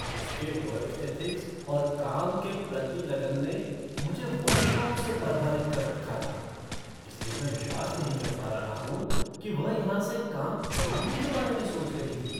उसके work ethics और काम के प्रति लगन ने मुझे वर्षों से प्रभावित कर रखा था, इसलिए मैं विश्वास नहीं कर पा रहा हूँ कि वह यहाँ से काम छोड़ने के बारे में सोच रही थी।